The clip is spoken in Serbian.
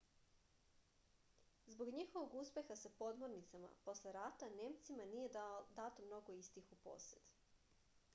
zbog njihovog uspeha sa podmornicama posle rata nemcima nije dato mnogo istih u posed